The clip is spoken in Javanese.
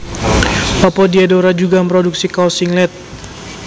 Opo Diadora juga mroduksi kaos singlet?